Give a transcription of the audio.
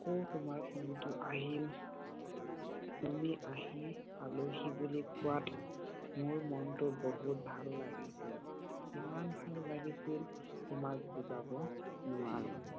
আকৌ তোমাৰ ফোন টো আহিল । তুমি আহি পালোহি বুলি কোৱাত মোৰ মন টোত বহুত ভাল লাগিছিল। ইমান ভাল লাগিছিল তোমাক বুজাব নোৱাৰোঁ।